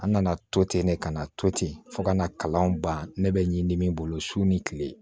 An nana to ten ne kana to ten fo ka na kalan ban ne bɛ ɲi ni min bolo su ni kile